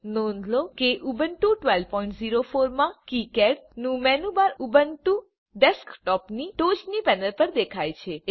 નોંધ લો કે ઉબુન્ટુ 1204 માં કિકાડ નું મેનૂ બાર ઉબુન્ટુ ડેસ્કટોપની ટોચની પેનલ પર દેખાય છે